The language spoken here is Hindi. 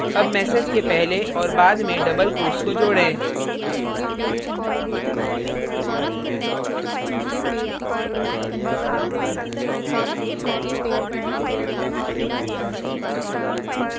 add message के पहले और बाद में double quotes को जोडें